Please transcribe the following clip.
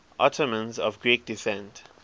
ottomans of greek descent